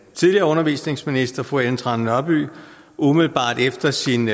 tidligere undervisningsminister fru ellen trane nørby umiddelbart efter sin